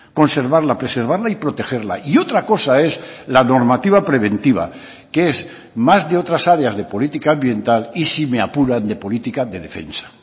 conservarla preservarla y protegerla y otra cosa es la normativa preventiva que es más de otras áreas de política ambiental y si me apuran de política de defensa